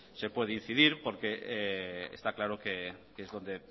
se puede incidir porque está claro que es dónde